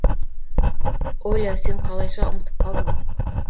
оля сен қалайша ұмытып қалдың